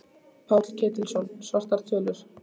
Páll Ketilsson: Svartar tölur?